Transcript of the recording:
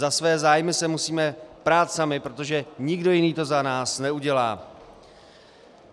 Za své zájmy se musíme prát sami, protože nikdo jiný to za nás neudělá.